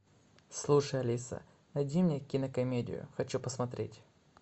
слушай алиса найди мне кинокомедию хочу посмотреть